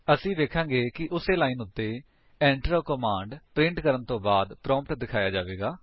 ਅਸੀ ਵੇਖਾਂਗੇ ਕਿ ਉਸੀ ਲਾਇਨ ਉੱਤੇ Enter a ਕਮਾਂਡ ਪ੍ਰਿੰਟ ਕਰਨ ਤੋਂ ਬਾਅਦ ਪ੍ਰੋਂਪਟ ਦਿਖਾਇਆ ਹੋਵੇਗਾ